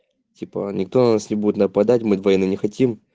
типо никто на нас не будет нападать мы войны не хотим